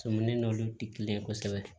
Tomin n'olu ti kelen ye kosɛbɛ